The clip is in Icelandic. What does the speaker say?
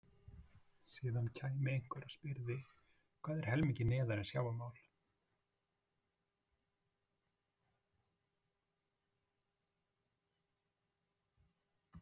Síðan kæmi einhver og spyrði: Hvað er helmingi neðar en sjávarmál?